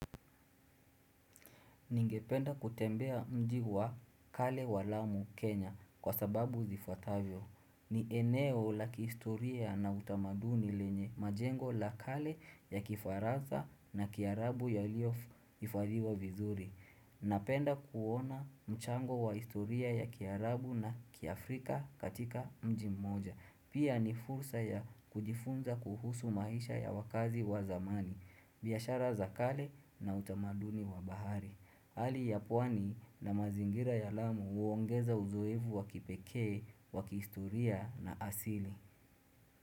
Ningependa kutembea mji wa kale wa lamu Kenya kwa sababu zifuatavyo. Ni eneo la kihistoria na utamaduni lenye majengo la kale ya kifaranza na kiarabu yaliyo hifadhiwa vizuri. Napenda kuona mchango wa historia ya kiarabu na kiafrika katika mji mmoja. Pia ni fursa ya kujifunza kuhusu maisha ya wakaazi wa zamani. Biashara za kale na utamaduni wa bahari. Hali ya pwani na mazingira ya lamu huongeza uzoefu wa kipekee, wa kihistoria na asili.